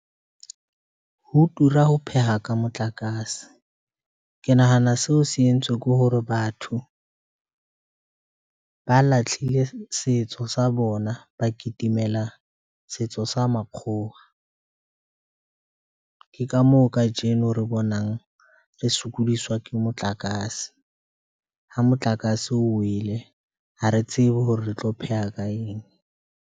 Ho tura ho pheha ka motlakase. Ke nahana seo se entswe ke hore batho ba lahlile setso sa bona, ba kitimela setso sa makgowa. Ke ka moo kajeno re bonang re sokodiswa ke motlakase ha motlakase o wele, ha re tsebe hore re tlo pheha ka eng.